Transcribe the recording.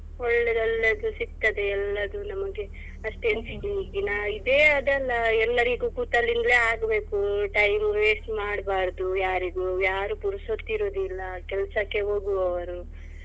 ಒಳ್ಳೇದು ಎಲ್ಲದು ಸಿಕ್ತದೆ ಎಲ್ಲದು ನಮಿಗೆ ಅಷ್ಟೇ ಎಲ್ಲರಿಗೂ ಕೂತಲ್ಲಿಂದ್ಲೇ ಆಗ್ಬೇಕು time waste ಮಾಡಬಾರ್ದು ಯಾರಿಗೂ ಯಾರು ಪುರ್ಸೋತಿರುದಿಲ್ಲ ಕೆಲ್ಸಕ್ಕೆ ಹೋಗುವವರು.